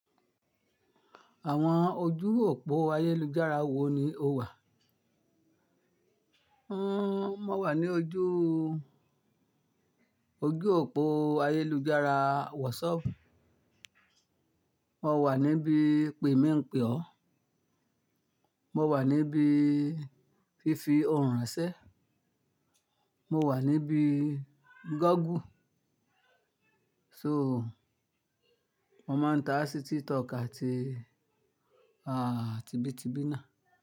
Àwọn ojú òpó ayélujára wo ni o wà? Hmmm, mo wà ní ojú, ojú òpó ayélujára WhatsApp. Mo wà níbí pè mí ń pè ọ́. Mo wà níbí fífi ohùn ránṣẹ́. Mo wà níbí Google. So, mo máa ń tàá sí TikTok àti, tibí tíbí náà.